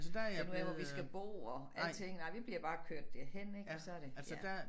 Finde ud af hvor vi skal bo og alting nej vi bliver bare kørt derhen ik og så det ja